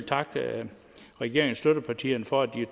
takke regeringens støttepartier for at de